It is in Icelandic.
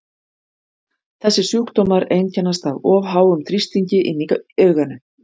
Þessir sjúkdómar einkennast af of háum þrýstingi inni í auganu.